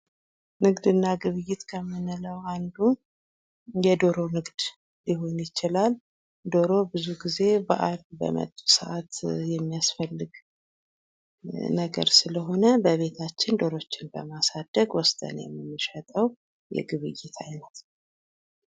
ንግድ እና ግብይት ከምንለው አንዱ የዶሮ ንግድ ሊሆን ይችላል ። ዶሮ ብዙ ጊዜ በዓል በመጡ ሰዓት የሚያስፈልግ ነገር ስለሆነ በቤታችን ዶሮዎችን በማሳደግ ወስደን የምንሸጠው የግብይት አይነት ነው ።